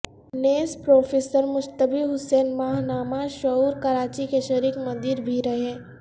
نیز پروفیسر مجتبی حسین ماہنامہ شعور کراچی کے شریک مدیر بھی رہے